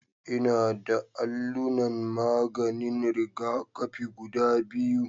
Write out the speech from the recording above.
Ina da allunan maganin rigakafi guda biyu